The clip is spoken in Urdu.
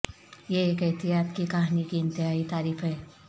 یہ ایک احتیاط کی کہانی کی انتہائی تعریف ہے